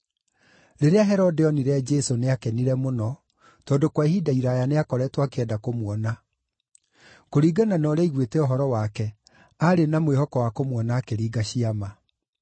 Rĩrĩa Herode oonire Jesũ, nĩakenire mũno, tondũ kwa ihinda iraaya nĩakoretwo akĩenda kũmuona. Kũringana na ũrĩa aiguĩte ũhoro wake, aarĩ na mwĩhoko wa kũmuona akĩringa ciama.